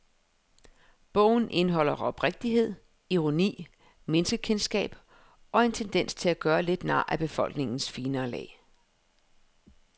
Bogen indeholder oprigtighed, ironi, menneskekendskab og en tendens til at gøre lidt nar af befolkningens finere lag.